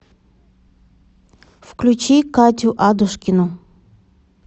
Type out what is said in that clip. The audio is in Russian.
включи катю адушкину